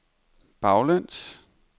baglæns